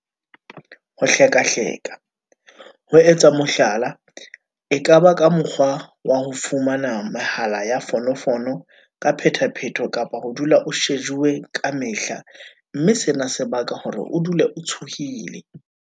Ho hlekahleka- ho etsa mohlala e ka ba ka mokgwa wa ho fumana mehala ya fono fono ka phethaphetho kapa ho dula o shejuwe ka mehla mme sena se baka hore o dule o tshohile.